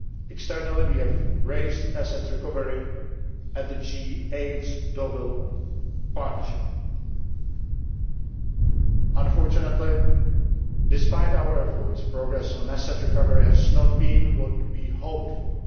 Externally, we have raised asset recovery at the G8's Deauville Partnership. Unfortunately, despite our efforts, progress on asset recovery has not been what we hoped for.